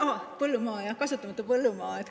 Aa, põllumaa, kasutamata põllumaa.